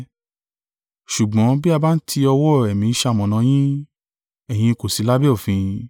Ṣùgbọ́n bí a bá ń ti ọwọ́ Ẹ̀mí ṣamọ̀nà yín, ẹ̀yin kò sí lábẹ́ òfin.